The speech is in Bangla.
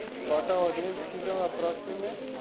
কটা audience ছিলো approximate?